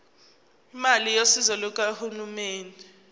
imali yosizo lukahulumeni